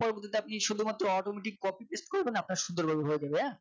পরবর্তীতে আপনি শুধুমাত্র Automatic copy paste করবেন আপনার সুন্দরভাবে হয়ে যাবে হ্যাঁ